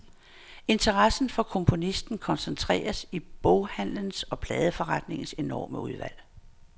Interessen for komponisten koncentreres i boghandlens og pladeforretningens enorme udvalg.